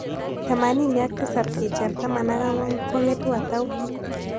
Temanini ak tisap kicher taman ak ang'wan ko ng'etu ata u